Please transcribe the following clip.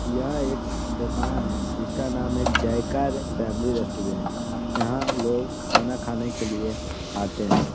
यह एक दुकान है जिसका नाम है जयकार फॅमिली रेस्टोरेंट । यहाँ लोग खाना खाने की लिए आते है।